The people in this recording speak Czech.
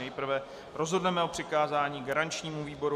Nejprve rozhodneme o přikázání garančnímu výboru.